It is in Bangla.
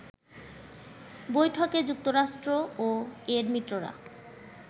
বৈঠকে যুক্তরাষ্ট্র ও এর মিত্ররা